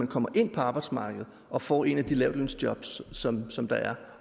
kommer ind på arbejdsmarkedet og får et af de lavtlønsjobs som som der er